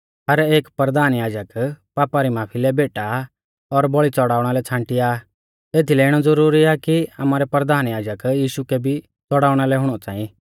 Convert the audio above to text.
हर एक परधान याजक पापा री माफी लै भैंटा और बौल़ी च़ौड़ाउणा लै छ़ांटिया आ एथीलै इणौ ज़ुरुरी आ कि आमारै परधान याजक यीशु कै भी च़ौड़ाउणा लै हुणौ च़ांई